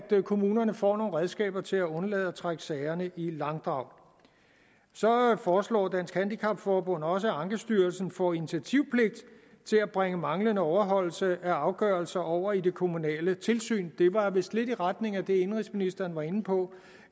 kommunerne får nogle redskaber til at undlade at trække sagerne i langdrag så foreslår dansk handicap forbund også at ankestyrelsen får initiativpligt til at bringe manglende overholdelse af afgørelser over i det kommunale tilsyn det var vist lidt i retning af det indenrigsministeren var inde på